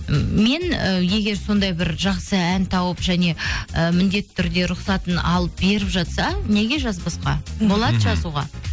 м мен і егер сондай бір жақсы ән тауып және і міндетті түрде рұқсатын алып беріп жатса неге жазбасқа мхм болады жазуға